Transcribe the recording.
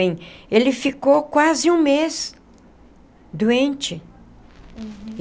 Ele ficou quase um mês doente. Uhum.